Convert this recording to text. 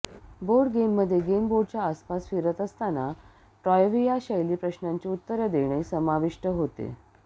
board गेममध्ये game बोर्डच्या आसपास फिरत असताना ट्रायव्हिया शैली प्रश्नांची उत्तरे देणे समाविष्ट होते